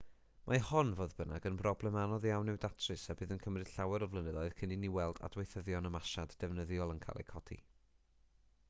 mae hon fodd bynnag yn broblem anodd iawn i'w datrys a bydd yn cymryd llawer o flynyddoedd cyn i ni weld adweithyddion ymasiad defnyddiol yn cael eu codi